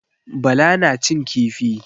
Bala na cin kifi.